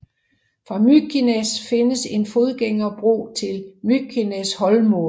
Fra Mykines findes en fodgængerbro til Mykineshólmur